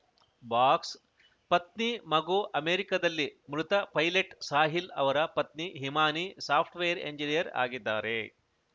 box ಪತ್ನಿ ಮಗು ಅಮೆರಿಕದಲ್ಲಿ ಮೃತ ಪೈಲಟ್‌ ಸಾಹಿಲ್‌ ಅವರ ಪತ್ನಿ ಹಿಮಾನಿ ಸಾಫ್ಟ್‌ವೇರ್‌ ಎಂಜಿನಿಯರ್‌ ಆಗಿದ್ದಾರೆ